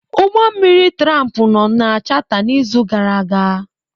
Ụgbọ mmiri tramp nọ na chata n'izu gara aga.